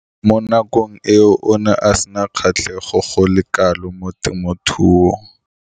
Mo nakong eo o ne a sena kgatlhego go le kalo mo temothuong.